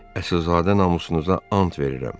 Əsilzadə namusunuza and verirəm.